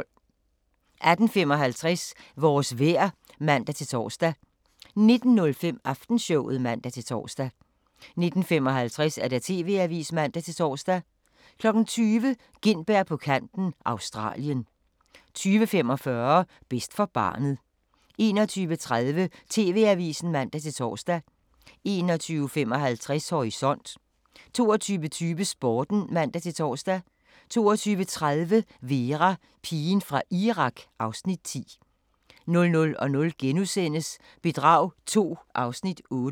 18:55: Vores vejr (man-tor) 19:05: Aftenshowet (man-tor) 19:55: TV-avisen (man-tor) 20:00: Gintberg på kanten – Australien 20:45: Bedst for barnet 21:30: TV-avisen (man-tor) 21:55: Horisont 22:20: Sporten (man-tor) 22:30: Vera: Pigen fra Irak (Afs. 10) 00:00: Bedrag II (Afs. 8)*